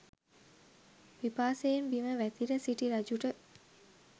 පිපාසයෙන් බිම වැතිර සිටි රජුට